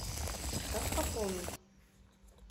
как пополнить